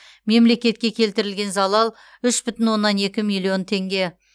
мемлекетке келтірілген залал үш бүтін оннан екі миллион теңге